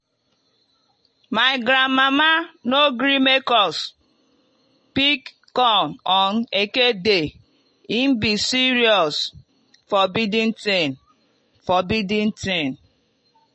my grandmama no gree make us pick corn on eke day e be serious forbidden tin." forbidden tin."